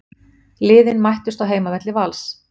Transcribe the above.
Liðin mættust á heimavelli Vals